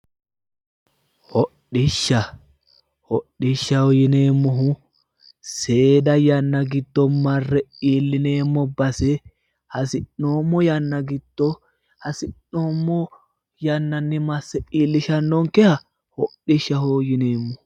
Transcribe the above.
Hodhishsha hodhishshaho yineemmohu seeda yanna giddo marre iillineemmo base hasi'noommo yanna giddo hasi'noommo yannanni masse iillishannonkeha hodhishshaho yineemmo.